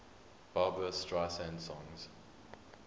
barbra streisand songs